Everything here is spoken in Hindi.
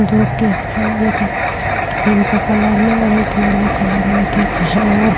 दो केक है एक पिंक कलर में और एक येलो कलर में केक है और --